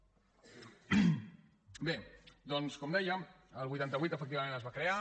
bé doncs com dèiem el vuitanta vuit efectivament es va crear